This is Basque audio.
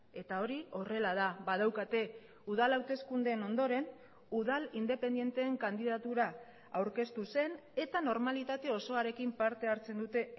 eta hori horrela da badaukate udal hauteskundeen ondoren udal independenteen kandidatura aurkeztu zen eta normalitate osoarekin parte hartzen dute